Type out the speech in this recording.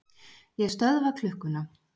Ég stöðva klukkuna.